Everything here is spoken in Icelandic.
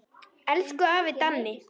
Elsku afi Danni.